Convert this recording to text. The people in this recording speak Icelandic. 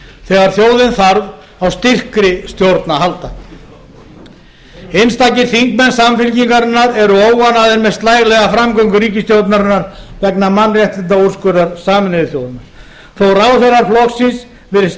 þegar þjóðin þarf á styrkri stjórn að halda einstakir þingmenn samfylkingarinnar eru óánægðir með slælega framgöngu ríkisstjórnarinnar vegna mannréttindaúrskurðar sameinuðu þjóðanna þó að ráðherrar flokksins virðist